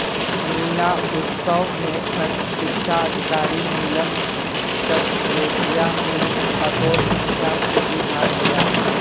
मीना उत्सव में खंड शिक्षा अधिकारी नीलम जंदरोटिया ने बतौर मुख्यातिथि भाग लिया